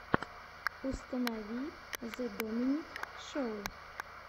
установи зе доминик шоу